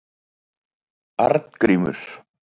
Arngrímur